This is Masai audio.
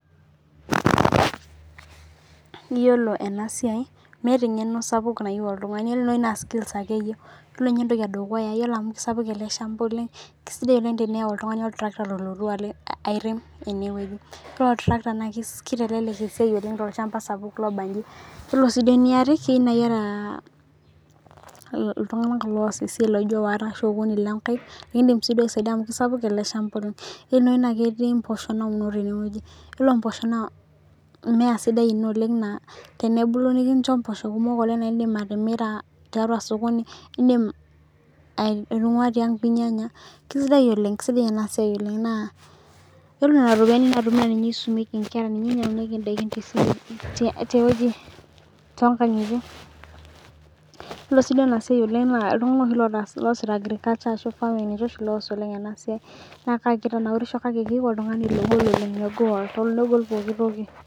iyolo ena siai meeta eng`eno sapuk nayiu oltungani skills ake eyieu iyolo inye entoki ee dukuya iyolo amu keisapuk ele shampa oleng` kesidai oleng` teniyau oltung`ani oltrakta oloyu aairem ene weji oree oltrakta naa keitalelel esiai oleng` tolchampa sapuk looba inji iyolo sii duo eeniare keyiu naaa iyata iltung`anak loos esiai laijo waare arashu okuni lonkaek iindim likisaidia amu keisapuk ele shampa oleng` ktii naji imposhoo nauno tene wei iyolo impoosho naa mmea sidai oleng` naa tenebulu nikincho impoosho kumok oleng` naa iindim atimira tiatua osokooni iindim aitunguaa tiang` pee inyanya kesidai oleng` kesidai enaa siai oleng` naa iyolo nena ropiyiani naatumi naa ninye esumieki inkera ninye einyangunyieki indaikin too nkangitie iyolo sii duo ena siai oleng` naa iltunganak oosita agriculture ashuu farming ninche oshii oos oleng` ena siai naa keitanaurisho kake keyieu oltungani logol oleng.